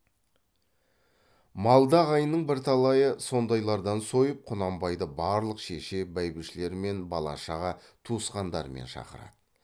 малды ағайынның бірталайы сондайлардан сойып құнанбайды барлық шеше бәйбішелерімен бала шаға туысқандарымен шақырады